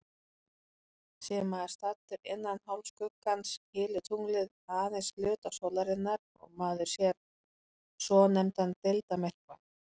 Sé maður staddur innan hálfskuggans, hylur tunglið aðeins hluta sólarinnar og maður sér svonefndan deildarmyrkva.